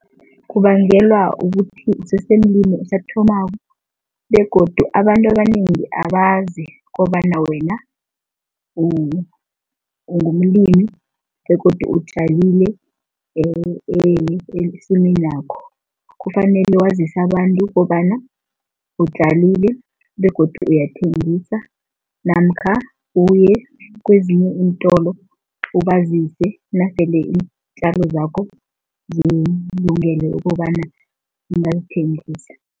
Kubangelwa ukuthi usesemlimi osathomako begodu abantu abanengi abazi kobana wena ungumlimi begodu utjalile esimeni yakho. Kufanele wazise abantu kobana utjalile begodu uyathengisa namkha uye kwezinye iintolo ubazise, nasele iintjalo zakho zikulungele ukobana ungazithengisa.